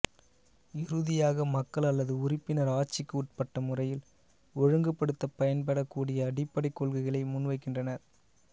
இறுதியாக மக்கள் அல்லது உறுப்பினர் ஆட்சிக்கு உட்பட்ட முறையில் ஒழுங்குபடுத்தப் பயன்படக் கூடிய அடிப்படைக் கொள்கைளை முன்வைக்கிறார்